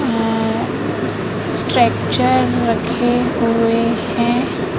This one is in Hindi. उम्म स्ट्रेचर रखे हुए हैं।